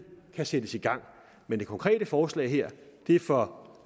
kan sættes i gang men det konkrete forslag her er for